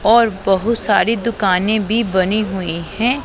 और बहुत सारी दुकानें भी बनी हुई हैं।